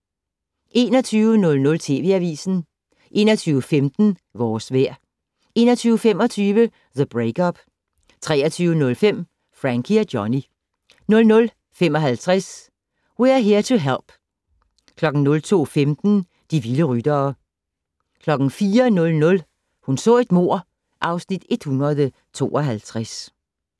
21:00: TV Avisen 21:15: Vores vejr 21:25: The Break-Up 23:05: Frankie og Johnny 00:55: We're Here to Help 02:15: De vilde ryttere 04:00: Hun så et mord (Afs. 152)